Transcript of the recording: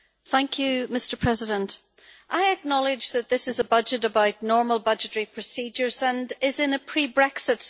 Mr President, I acknowledge that this is a budget about normal budgetary procedures and is in a pre Brexit scenario.